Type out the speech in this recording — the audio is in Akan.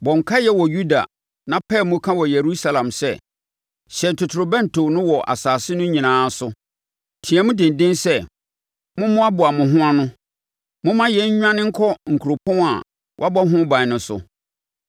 “Bɔ nkaeɛ wɔ Yuda na pae mu ka wɔ Yerusalem sɛ, ‘Hyɛn totorobɛnto no wɔ asase no nyinaa so!’ Team denden sɛ: ‘Mommoaboa mo ho ano! Momma yɛn nnwane nkɔ kuropɔn a wɔabɔ ho ban no so!’